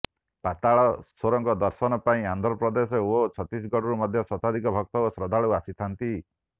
ପାତାଳାଶ୍ୱେରଙ୍କ ଦର୍ଶନ ପାଇଁ ଆନ୍ଧ୍ରପେଦଶ ଓ ଛତିଶଗଡ଼ରୁ ମଧ୍ୟ ଶତାଧିକ ଭକ୍ତ ଓ ଶ୍ରଦ୍ଧାଳୁ ଆସିଥାନ୍ତି